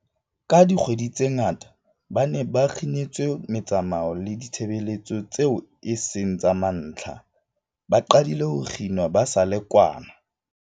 Ka dikgwedi tse ngata, ba ne ba kginetswe metsamao le ditshebeletso tseo e seng tsa mantlha, ba qadile ho kginwa ba sa le kwana